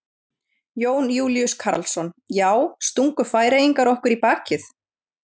Jón Júlíus Karlsson: Já, stungu Færeyingar okkur í bakið?